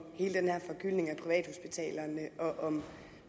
hele den her forgyldning af privathospitalerne og om